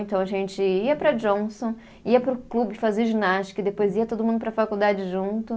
Então, a gente ia para a Johnson, ia para o clube fazer ginástica, e depois ia todo mundo para a faculdade junto.